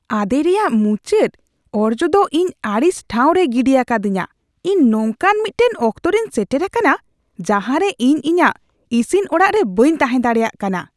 ᱟᱸᱫᱮ ᱨᱮᱭᱟᱜ ᱢᱩᱪᱟᱹᱫ ᱚᱨᱡᱚ ᱫᱚ ᱤᱧ ᱟᱹᱲᱤᱥ ᱴᱷᱟᱶ ᱨᱮᱭ ᱜᱤᱰᱤ ᱟᱠᱟᱫᱤᱧᱟᱹ ᱾ ᱤᱧ ᱱᱚᱝᱠᱟᱱ ᱢᱤᱫᱴᱟᱝ ᱚᱠᱛᱚ ᱨᱮᱧ ᱥᱮᱴᱮᱨ ᱟᱠᱟᱱᱟ ᱡᱟᱦᱟᱨᱮ ᱤᱧ ᱤᱧᱟᱹᱜ ᱤᱥᱤᱱ ᱚᱲᱟᱜ ᱨᱮ ᱵᱟᱹᱧ ᱛᱟᱦᱮᱸ ᱫᱟᱲᱮᱭᱟᱜ ᱠᱟᱱᱟ ᱾